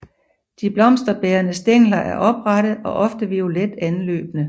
De blomsterbærende stængler er oprette og ofte violet anløbne